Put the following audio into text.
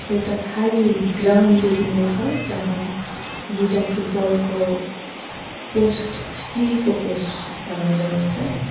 एउटा खाली ग्राउन्ड देखिँदैछ जहाँ दुईटा फुटबल को पोस्ट स्टिल को पोस्ट लगाई राखेको छ।